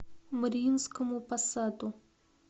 мариинскому посаду